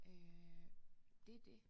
Øh det det